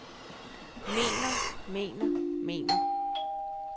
mener mener mener